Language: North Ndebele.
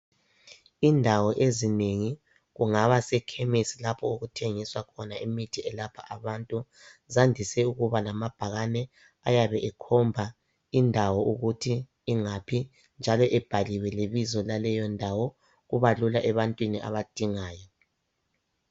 Indawo ezinengi, kungaba sekhemisi lapho okuthengiswa khona imithi elapha abantu, zandise ukuba lamabhakani ayabe ekhomba indawo ukuthi ingaphi njalo ebhaliwe lebizo laleyo ndawo. Kubalula ebantwini abadingayo.